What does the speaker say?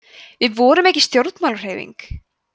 við vorum ekki stjórnmálahreyfing